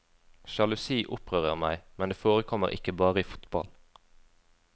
Sjalusi opprører meg, men det forekommer ikke bare i fotball.